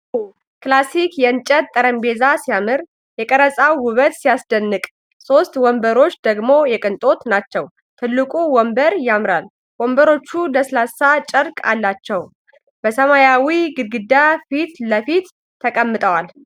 ዋው! ክላሲክ የእንጨት ጠረጴዛ ሲያምር! የተቀረጸው ውበት ሲያስደንቅ ። ሶስት ወንበሮች ደግሞ የቅንጦት ናቸው ። ትልቁ ወንበር ያምራል!። ወንበሮቹ ለስላሳ ጨርቅ አላቸው ። በሰማያዊ ግድግዳ ፊት ለፊት ተቀምጠዋል ።